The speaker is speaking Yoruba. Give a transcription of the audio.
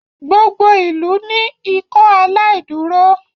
gbogbo ilú ni Ikọaláìdúró.